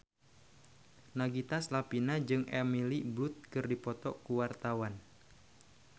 Nagita Slavina jeung Emily Blunt keur dipoto ku wartawan